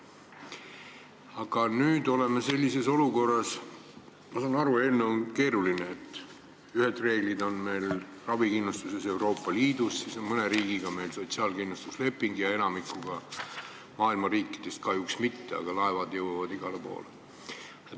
Aga nüüd oleme sellises olukorras, et Euroopa Liidus on ühed ravikindlustuse reeglid ja mõne riigiga on meil sotsiaalkindlustusleping – enamiku maailma riikidega kahjuks mitte –, kuid laevad jõuavad igale poole.